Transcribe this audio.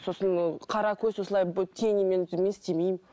сосын ол қаракөз осылай тенимен мен істемеймін